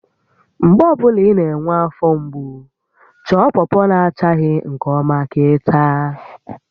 Mgbe ọ bụla ị na-enwe afọ mgbu, chọọ pọpọ na achaghị nke ọma ka ị taa